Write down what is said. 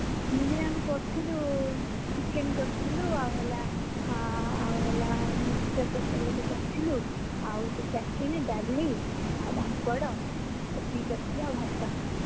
Picnic ରେ ଆମେ କରିଥିଲୁ, chicken କରିଥିଲୁ ଏଁ ଆଉ ହେଲା ଆଉ ହେଲା mixture ତରକାରୀ ଗୋଟେ କରିଥିଲୁ ଆଉ ଗୋଟେ ଡାଲି ଆଉ ପାମ୍ପଡ ଏତିକି କରିଥିଲା ଆଉ ଭାତ